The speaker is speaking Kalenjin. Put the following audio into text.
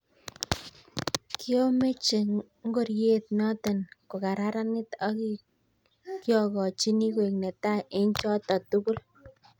Kiomeche ngoriet noto kokararanit ak kiokochini koek netai eng' choto tugul.